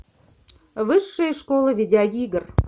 высшая школа видеоигр